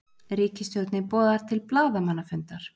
Ríkisstjórnin boðar til blaðamannafundar